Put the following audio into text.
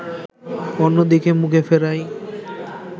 অন্যদিকে মুখ ফেরাই